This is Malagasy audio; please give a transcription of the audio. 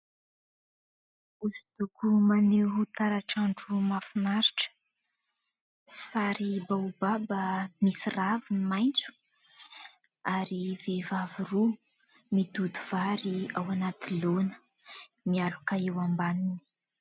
Hosodoko maneho taratr'andro mahafinaritra, sary baobaba misy raviny maitso ary vehivavy roa mitoto vary ao anaty laona, mialoka eo ambaniny.